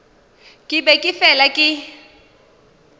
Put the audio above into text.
ke be ke fela ke